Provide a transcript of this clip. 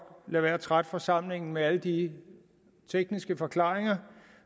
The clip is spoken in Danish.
lade være med at trætte forsamlingen med alle de tekniske forklaringer